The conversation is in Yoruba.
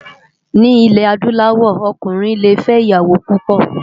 Ni ilè àdúláwò òkúnrin lé fè iyàwó púpò